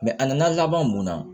a nana laban mun na